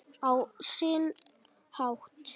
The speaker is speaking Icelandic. Á sinn hátt.